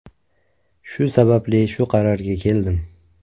Shu sababli shu qarorga keldim.